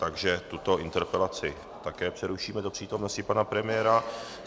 Takže tuto interpelaci také přerušíme do přítomnosti pana premiéra.